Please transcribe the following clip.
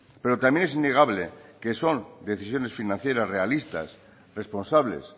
pero también es innegable que son decisiones financieras realistas responsables